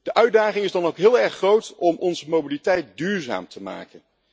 De uitdaging is dan ook heel erg groot om onze mobiliteit duurzaam te maken.